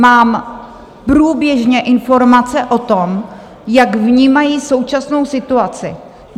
Mám průběžně informace o tom, jak vnímají současnou situaci.